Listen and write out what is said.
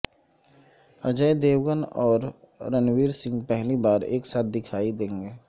اجے Devgn اور رنوویر سنگھ پہلی بار ایک ساتھ دکھائی دیں گے